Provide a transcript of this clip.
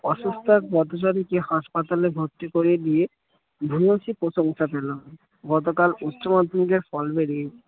অসুস্থ এক পথচারীকে হাসপাতালে ভর্তি করে দিয়ে প্রশংসা পেল গতকাল উচ্চ মাধ্যমিকের ফল বেরিয়েছে